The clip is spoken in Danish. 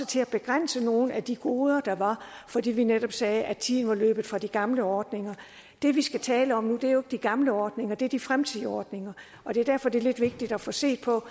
til at begrænse nogle af de goder der var fordi vi netop sagde at tiden var løbet fra de gamle ordninger det vi skal tale om nu er jo ikke de gamle ordninger det er de fremtidige ordninger og det er derfor det er lidt vigtigt at få set på